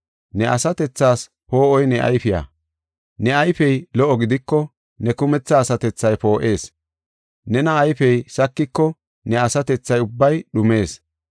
Ne asatethaas poo7oy ne ayfiya. Ne ayfey lo77o gidiko, ne kumetha asatethay poo7ees. Nena ayfey sakiko ne asatethay ubbay dhumees.